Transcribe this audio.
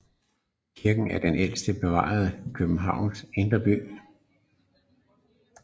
Kirken er den ældste bevarede i Københavns indre by